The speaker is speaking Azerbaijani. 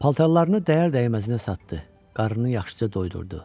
Paltarlarını dəyər-dəyməzinə satdığı, qarnını yaxşıca doyurdu.